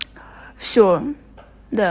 всё да